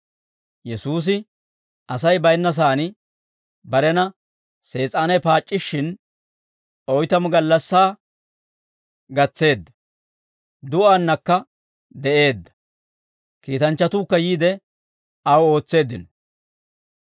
Yesuusi Asay bayinna saan barena Sees'aanay paac'c'ishshin, oytamu gallassaa gatseedda; du'aannakka de'eedda; kiitanchchatuukka yiide, aw ootseeddino.